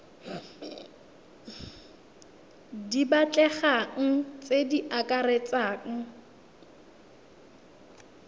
di batlegang tse di akaretsang